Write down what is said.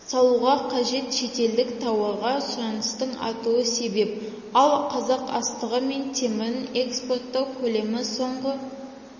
салуға қажет шетелдік тауарға сұраныстың артуы себеп ал қазақ астығы мен темірін экспорттау көлемі соңғы